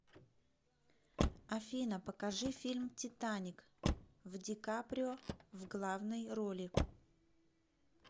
афина покажи фильм титаник в ди каприо в главной роли